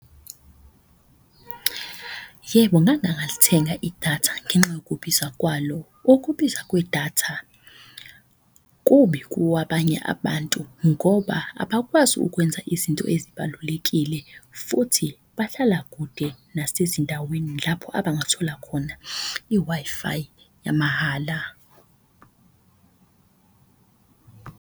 Yebo, idatha ngenxa yokubiza kwalo. Okubiza kwedatha kubi kuwabanye abantu ngoba abakwazi ukwenza ukuthi izinto ezibalulekile. Futhi bahlala kude nasezindaweni lapho abangathola khona i-Wi-Fi yamahhala.